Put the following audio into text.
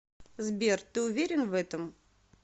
сбер ты уверен в этом